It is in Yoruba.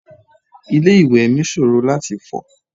Ilé ìwẹ̀ mi ṣòro láti fọ̀.